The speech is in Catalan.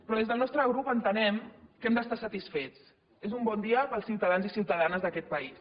però des del nostre grup entenem que hem d’estar satisfets és un bon dia per als ciutadans i ciutadanes d’aquest país